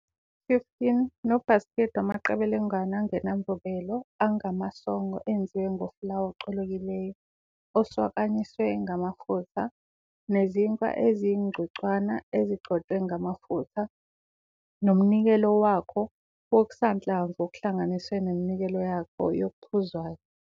15 nobhasikidi wamaqebelengwane angenamvubelo angamasongo enziwe ngofulawa ocolekileyo, oswakanyiswe ngamafutha, nezinkwa eziyizingcwecwana ezigcotshwe ngamafutha, nomnikelo wako wokusanhlamvu plus neminikelo yako yokuphuzwayo.